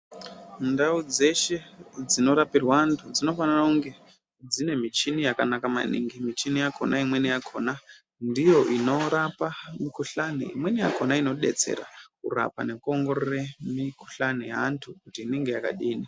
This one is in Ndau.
Ndau dzeshe dzinotapirwe anthu dzinofane kunge dzine michini yakanaka maningi michini yakona imweni yakona ndiyo inorapa mukuhlani imweni yakona inobetsera kurapa nekuongorore mikuhlani yeantgu kuti inenge yakadini.